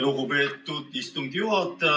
Lugupeetud istungi juhataja!